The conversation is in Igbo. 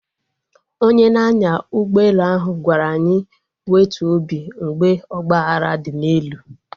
Onye na-anya ụgbọ ala ahụ gwara anyị wetuo obi mgbe ọgba aghara dị n'elu